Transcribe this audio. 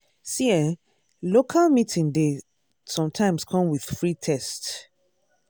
see eh local meeting dey sometimes come with free test.